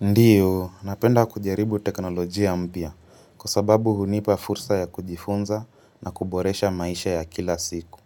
Ndiyo, napenda kujaribu teknolojia mpya kwa sababu hunipa fursa ya kujifunza na kuboresha maisha ya kila siku.